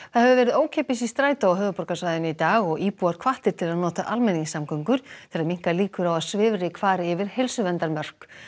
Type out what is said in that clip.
það hefur verið ókeypis í strætó á höfuðborgarsvæðinu í dag og íbúar hvattir til að nota almenningssamgöngur til að minnka líkur á að svifryk fari yfir heilsuverndarmörk